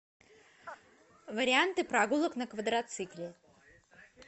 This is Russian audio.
варианты прогулок на квадроцикле